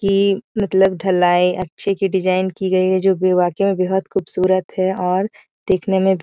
की मतलब ढलाई अच्छे की डिज़ाइन की गयी है जो की वाकई में बेहद खूबसूरत हैऔर देखने में --